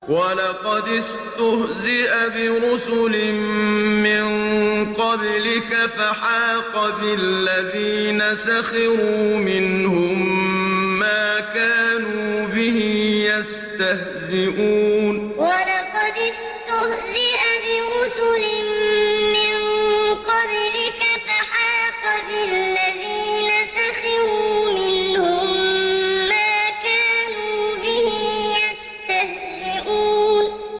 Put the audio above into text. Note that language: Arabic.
وَلَقَدِ اسْتُهْزِئَ بِرُسُلٍ مِّن قَبْلِكَ فَحَاقَ بِالَّذِينَ سَخِرُوا مِنْهُم مَّا كَانُوا بِهِ يَسْتَهْزِئُونَ وَلَقَدِ اسْتُهْزِئَ بِرُسُلٍ مِّن قَبْلِكَ فَحَاقَ بِالَّذِينَ سَخِرُوا مِنْهُم مَّا كَانُوا بِهِ يَسْتَهْزِئُونَ